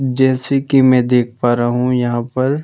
जैसे कि मैं देख पा रहा हूँ यहाँ पर--